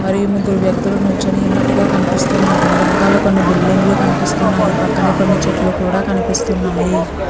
మరియు ముగురు వ్యక్తులు నిలుచొని వున్నటు గ కనిపిస్తునారు వెనుకల కొన్ని బిల్డింగ్ లు కనిపిస్తున్నాయి పక్కనే కొన్ని చెట్లు కూడా కనిపిస్తున్నాయి.